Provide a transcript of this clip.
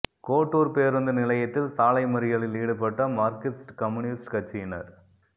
கோட்டூர் பேருந்து நிலையத்தில் சாலை மறியலில் ஈடுபட்ட மார்க்சிஸ்ட் கம்யூனிஸ்ட் கட்சியினர்